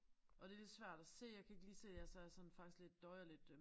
Og det lidt svært at se jeg kan ikke lige se altså jeg sådan faktisk lidt døjer lidt øh